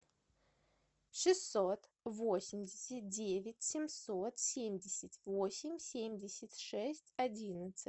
шестьсот восемьдесят девять семьсот семьдесят восемь семьдесят шесть одиннадцать